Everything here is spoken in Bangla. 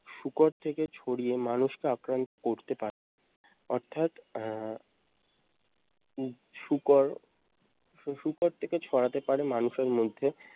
শুকর থেকে ছড়িয়ে মানুষকে আক্রান্ত করতে পারে। অর্থাৎ আহ হম শুকর সে শুকর থেকে ছড়াতে পারে মানুষের মধ্যে।